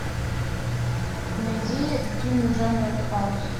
найди фильмы в жанре артхаус